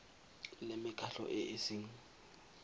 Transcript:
le mekgatlho e e seng